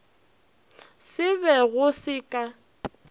se be go se ka